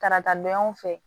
Karata donyanw fɛ